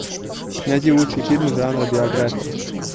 найти лучшие фильмы жанра биография